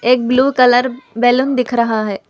एक blue colour balloon दिख रहा है।